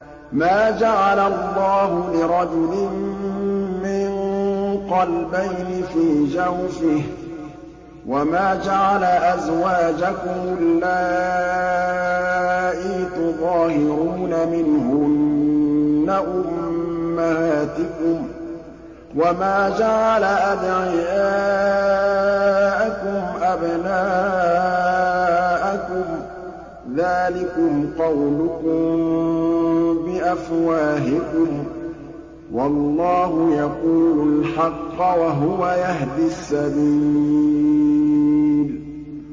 مَّا جَعَلَ اللَّهُ لِرَجُلٍ مِّن قَلْبَيْنِ فِي جَوْفِهِ ۚ وَمَا جَعَلَ أَزْوَاجَكُمُ اللَّائِي تُظَاهِرُونَ مِنْهُنَّ أُمَّهَاتِكُمْ ۚ وَمَا جَعَلَ أَدْعِيَاءَكُمْ أَبْنَاءَكُمْ ۚ ذَٰلِكُمْ قَوْلُكُم بِأَفْوَاهِكُمْ ۖ وَاللَّهُ يَقُولُ الْحَقَّ وَهُوَ يَهْدِي السَّبِيلَ